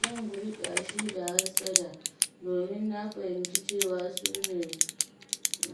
Zan guji ƙyashi da hassada, domin na fahimci cewa su ne